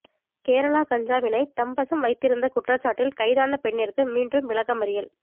கேரளா கஞ்சாவினை தம்வசம் வைத்திருந்த குற்றசாட்டில் கைதான பெண்ணிற்கு மீண்டும் விளக்கமறியல்